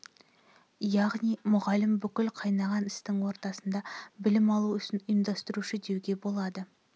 яғни мұғалім бүкіл қайнаған істің ортасында білім алу ісін ұйымдастырушы деуге болады